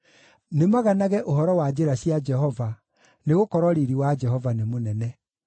Nĩmaganage ũhoro wa njĩra cia Jehova, nĩgũkorwo riiri wa Jehova nĩ mũnene.